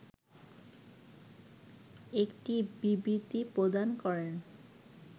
একটি বিবৃতি প্রদান করেন